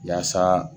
Yaasa